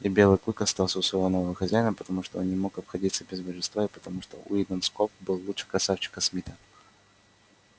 и белый клык остался у своего нового хозяина потому что он не мог обходиться без божества и потому что уидон скоп был лучше красавчика смита